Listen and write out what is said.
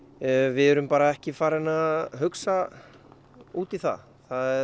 við erum ekki farin að hugsa út í það